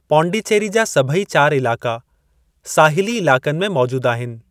पुडुचेरी जा सभई चार इलाक़ा साहिली इलाक़नि में मौजूद आहिनि।